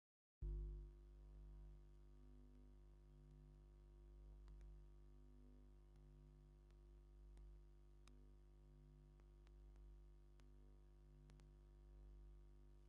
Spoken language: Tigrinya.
ካብዚ ምስሊ ገፀ ምድሪ ቆላ ኣብ በሪኽ ኮይንካ እንትርኦ ፅባቐኡ እንታይ ከምዝመስል የመልክት፡፡ እዚ ምድሪ ንኽትከዶ እዩ ዘፀግም እምበር ንክትሪኦስ ደስ ዝብል እዩ፡፡